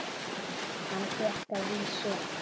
Hann fékk að vísu